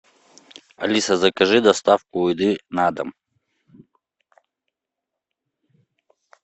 алиса закажи доставку еды на дом